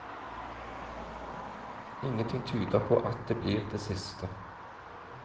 Ingenting tyder på at det blir det siste.